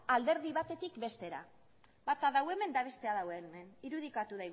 alderdi batetik bestera bata du hemen eta bestea du hemen irudikatu